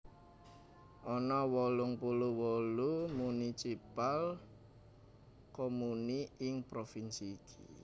Ana wolung puluh wolu municipal comuni ing provinsi iki